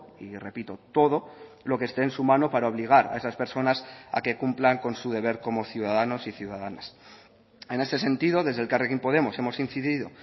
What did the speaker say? y repito todo lo que esté en su mano para obligar a esas personas a que cumplan con su deber como ciudadanos y ciudadanas en ese sentido desde elkarrekin podemos hemos incidido